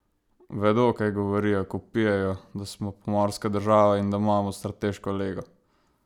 Vedo, kaj govorijo, ko vpijejo, da smo pomorska država in da imamo strateško lego?